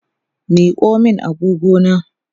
Miko min agogona!